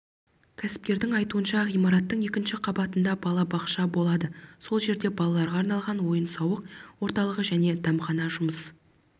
кәсіпкердің айтуынша ғимараттың екінші қабатында балабақша болады сол жерде балаларға арналған ойын-сауық орталығы және дәмхана жұмыс